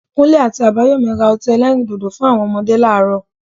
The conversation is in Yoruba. Kunle àti Abayomi ra ọtí elẹ́rìndòdò fún àwọn ọmọdé láàárọ̀